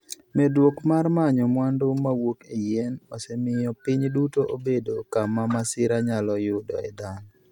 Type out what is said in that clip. Medruok mar manyo mwandu mawuok e yien, osemiyo piny duto obedo kama masira nyalo yudoe dhano.